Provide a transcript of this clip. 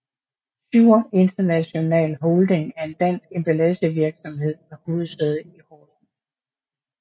Schur International Holding er en dansk emballagevirksomhed med hovedsæde i Horsens